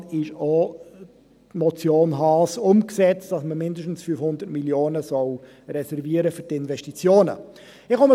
Mit diesem AFP ist auch die Motion Haas umgesetzt, wonach man mindestens 500 Mio. Franken für Investitionen reservieren soll.